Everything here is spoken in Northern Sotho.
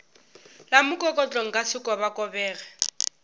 la mokokotlo nka se kobakobege